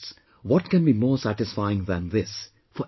What can be more satisfying than this for any one